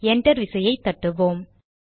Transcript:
enter விசையை தட்டுவோம்